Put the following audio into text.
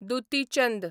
Dutee Chand